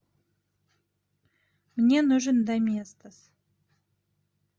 мне нужен доместос